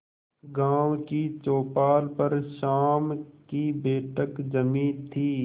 गांव की चौपाल पर शाम की बैठक जमी थी